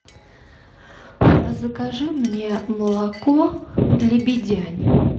закажи мне молоко лебедянь